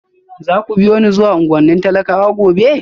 Za ku biyo ni zuwa unguwannin talakawa gobe?